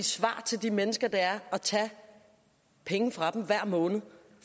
svar til de mennesker er at tage penge fra dem hver måned